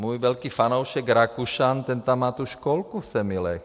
Můj velký fanoušek Rakušan, ten tam má tu školku v Semilech.